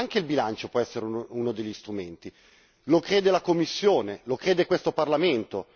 Anche il bilancio può essere uno degli strumenti, lo crede la Commissione, lo crede questo Parlamento.